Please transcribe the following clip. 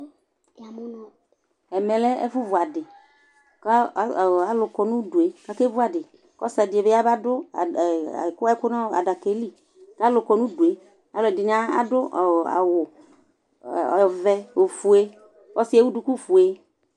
Ɛmɛ lɛ ɛfu vu adi ku alu kɔ nu dué ka ké vu adi kɔ ɔsi di bi badu ɛku na adakɛ li ka alu kɔ nu dué ɔlu ɛdini adu awu ɔvɛ ofoé kɔ siɛ wu duku foé